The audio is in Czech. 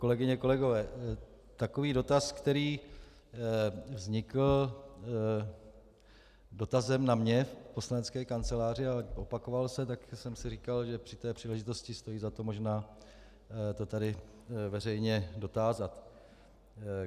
Kolegyně, kolegové, takový dotaz, který vznikl dotazem na mě v poslanecké kanceláři, ale opakoval se, tak jsem si říkal, že při té příležitosti stojí za to možná to tady veřejně dotázat.